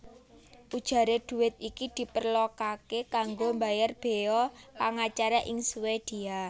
Ujaré dhuwit iki diperlokaké kanggo mbayar béya pangacara ing Swédia